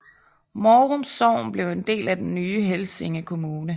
Mårum Sogn blev en del af den nye Helsinge Kommune